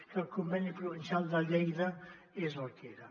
que el conveni provincial de lleida és el que era